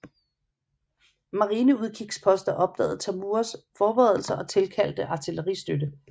Marineudkigsposter opdagede Tamuras forberedelser og tilkaldte artilleristøtte